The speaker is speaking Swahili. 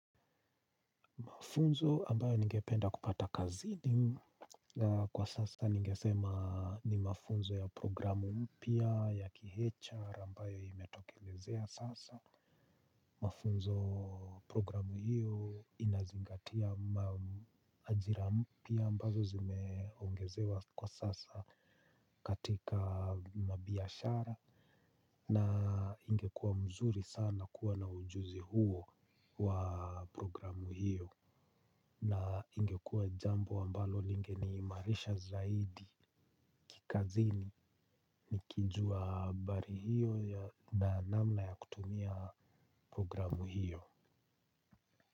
Mafunzo ambayo ningependa kupata kazini kwa sasa ningesema ni mafunzo ya programu mpya ya kiHR ambayo imetokelezea sasa. Mafunzo programu hiyo inazingatia ajira mpya ambazo zimeongezewa kwa sasa katika mabiashara na ingekuwa mzuri sana kuwa na ujuzi huo wa programu hiyo. Na ingekuwa jambo ambalo linge ni imarisha zaidi kikazini. Nikijua habari hiyo na namna ya kutumia programu hiyo.